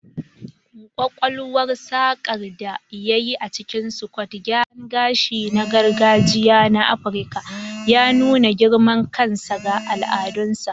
Ƙwaƙwalwar saƙar da ya yi a cikin scodo, gyaran gashi na gargajiya na Afirka, ya nuna girman kansa ga al'adunsa.